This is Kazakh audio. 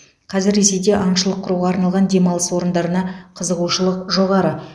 қазір ресейде аңшылық құруға арналған демалыс орындарына қызығушылық жоғары